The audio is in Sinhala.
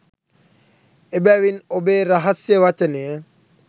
එබැවින් ඔබේ රහස්‍ය වචනය